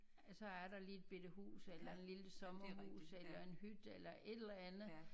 Så er der lige et bette hus eller et lille sommerhus eller en hytte eller et eller andet